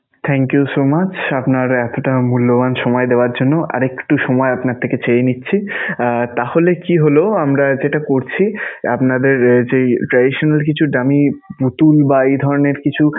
Thank you so much আপনার এতোটা মূল্যবান সময় দেওয়ার জন্য. আর একটু সময় আপনার থেকে চেয়ে নিচ্ছি. আহ তাহলে কি হলো আমরা যেটা করছি, আপনাদের যেই traditional কিছু dummy পুতুল বা এই ধরণের কিছু